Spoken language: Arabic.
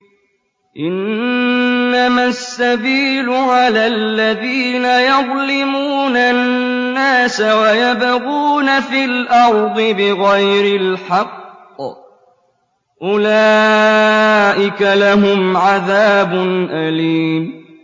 إِنَّمَا السَّبِيلُ عَلَى الَّذِينَ يَظْلِمُونَ النَّاسَ وَيَبْغُونَ فِي الْأَرْضِ بِغَيْرِ الْحَقِّ ۚ أُولَٰئِكَ لَهُمْ عَذَابٌ أَلِيمٌ